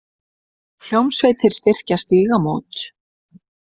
Hljómsveitir styrkja Stígamót